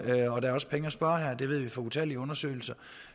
og der er også penge at spare her vi ved fra utallige undersøgelser